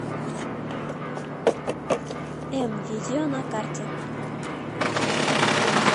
мвидео на карте